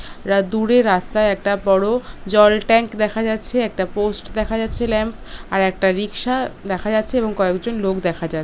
রা দূরে রাস্তায় একটা বড়ো জল ট্যাঙ্ক দেখা যাচ্ছে একটা পোস্ট দেখা যাচ্ছে ল্যাম্প আর একটা রিকশা দেখা যাচ্ছে এবং কয়েক জন লোক দেখা যাচ্ছ--